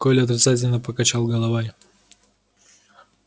коля отрицательно покачал головой